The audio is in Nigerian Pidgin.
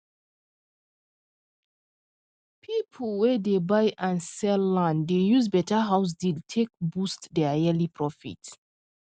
people wey dey buy and sell land dey use better house deal take boost their yearly profit